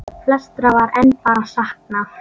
Flestra var enn bara saknað.